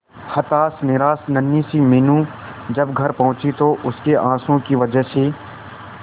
हताश निराश नन्ही सी मीनू जब घर पहुंची तो उसके आंसुओं की वजह से